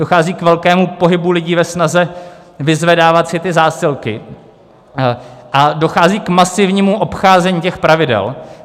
Dochází k velkému pohybu lidí ve snaze vyzvedávat si ty zásilky a dochází k masivnímu obcházení těch pravidel.